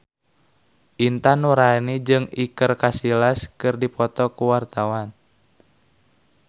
Intan Nuraini jeung Iker Casillas keur dipoto ku wartawan